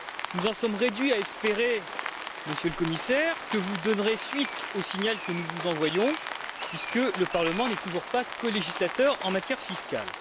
Nous en sommes réduits à espérer, Monsieur le Commissaire, que vous donnerez suite au signal que nous vous envoyons, puisque le Parlement n'est toujours pas colégislateur en matière fiscale.